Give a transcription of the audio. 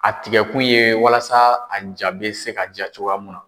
A tigɛkun ye walasa a ja be se ka ja cogoya mun na.